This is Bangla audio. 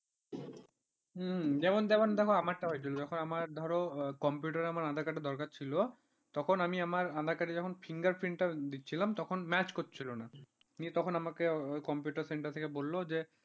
যেমন যেমন যেমন আমারটা হয়েছিল যখন আমার ধরো computer এ আমার aadhaar card এর দরকার ছিল, তখন আমি আমার aadhaar fingerprint টা দিচ্ছিলাম তখন match করছিল না, তখন আমাকে computer center থেকে বলল যে